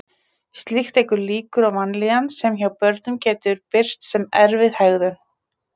Slíkt eykur líkur á vanlíðan sem hjá börnum getur birst sem erfið hegðun.